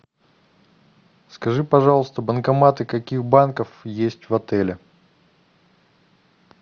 скажи пожалуйста банкоматы каких банков есть в отеле